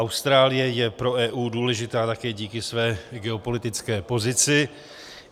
Austrálie je pro EU důležitá také díky své geopolitické pozici.